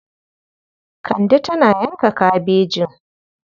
Kande tana yanka kabejin.